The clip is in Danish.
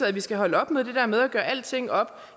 at vi skal holde op med det der med at gøre alting op